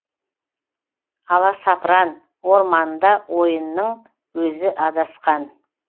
аласапран орманында ойынның өзі адасқан